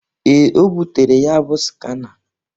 Ee, o butere ya bụ skana.